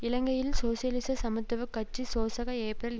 இலங்கையில் சோசியலிச சமத்துவ கட்சி சோசக ஏப்ரல்